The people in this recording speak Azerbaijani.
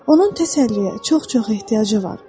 Onun təsəlliyə çox-çox ehtiyacı var.